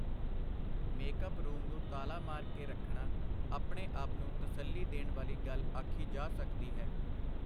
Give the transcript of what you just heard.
Make-up room ਨੂੰ ਤਾਲਾ ਮਾਰ ਕੇ ਰੱਖਣਾ ਆਪਣੇ ਆਪ ਨੂੰ ਤਸੱਲੀ ਦੇਣ ਵਾਲੀ ਗੱਲ ਆਖੀ ਜਾ ਸਕਦੀ ਹੈ.